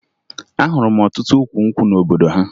Ahụrụ m ọtụtụ ukwu nkwụ n'obodo ha